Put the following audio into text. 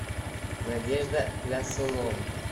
надежда плясунова